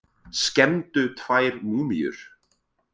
Skemmdu tvær múmíur